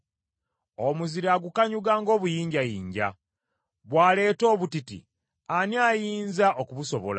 Omuzira agukanyuga ng’obuyinjayinja; bw’aleeta obutiti ani ayinza okubusobola?